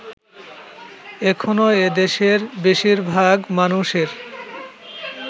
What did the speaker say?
এখনো এদেশের বেশিরভাগ মানুষের